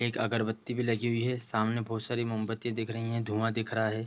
एक अगरबत्ती भी लगी हुई है सामने बहुत सारी मोमबत्ती दिख रहीं है धुआं दिख रहा है।